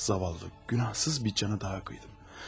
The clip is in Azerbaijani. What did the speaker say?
Yazıq, günahsız bir cana daha qıydım.